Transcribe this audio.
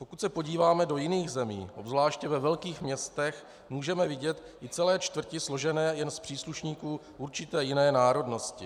Pokud se podíváme do jiných zemí, zvlášť ve velkých městech, můžeme vidět i celé čtvrti složené jen z příslušníků určité jiné národnosti.